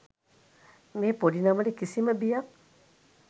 මේ පොඩිනමට කිසිම බියක්